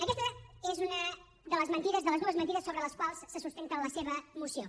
aquesta és una de les mentides de les dues mentides sobre les quals se sustenta la seva moció